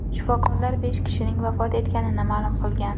Shifokorlar besh kishining vafot etganini ma’lum qilgan.